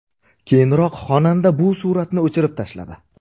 Keyinroq xonanda bu suratni o‘chirib tashladi.